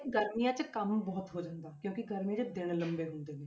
ਗਰਮੀਆਂ 'ਚ ਕੰਮ ਬਹੁਤ ਹੋ ਜਾਂਦਾ ਕਿਉਂਕਿ ਗਰਮੀਆਂ 'ਚ ਦਿਨ ਲੰਬੇ ਹੁੰਦੇ ਨੇ।